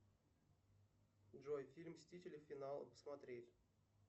джой фильм мстители финал смотреть